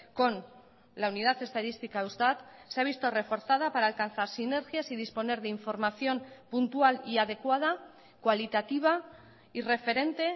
con la unidad estadística eustat se ha visto reforzada para alcanzar sinergias y disponer de información puntual y adecuada cualitativa y referente